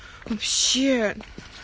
вообще